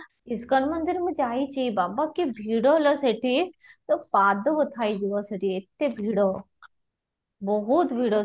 ISKCON ମୁଁ ଯାଇଛି ବାବା କି ଭିଡ଼ ଲୋ ସେଠି ତ ପାଦ ବଥା ହେଇଯିବ ସେଠି ଏତେ ଭିଡ଼ ବହୁତ ଭିଡ଼